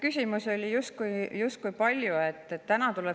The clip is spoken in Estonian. Küsimusi oli justkui palju.